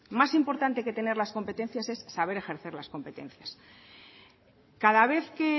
más importante que tener las competencias es saber ejercer las competencias cada vez que